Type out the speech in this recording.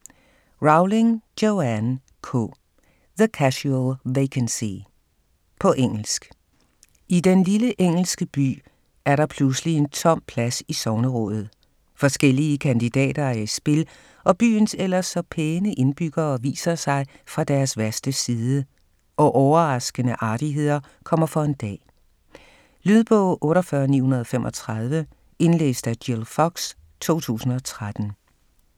Rowling, Joanne K.: The casual vacancy På engelsk. I den lille engelske by er der pludselig en tom plads i sognerådet. Forskellige kandidater er i spil, og byens ellers så pæne indbyggere viser sig fra deres værste side, og overraskende artigheder kommer for en dag. Lydbog 48935 Indlæst af Jill Fox, 2013.